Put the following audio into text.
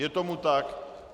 Je tomu tak.